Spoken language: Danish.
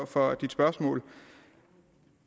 for spørgsmålet